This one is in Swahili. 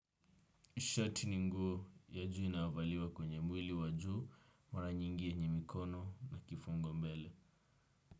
Shati ni nguo ya juu inavaliwa kwenye mwili wa juu, mara nyingi kwenye mikono na kifungo mbele.